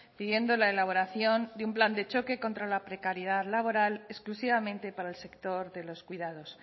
pidiendo la elaboración de un plan de choque contra la precariedad laboral exclusivamente para el sector de los cuidados